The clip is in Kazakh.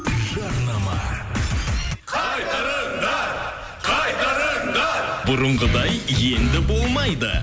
жарнама қайтарыңдар қайтарыңдар бұрынғыдай енді болмайды